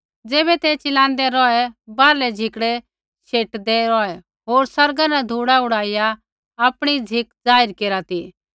ज़ैबै ते चिलाँदै रौहै बाहरलै झिकड़ै शेटदै रौहै होर आसमाना न धूड़ा उड़ाइया आपणी झ़िक जाहिर केरा ती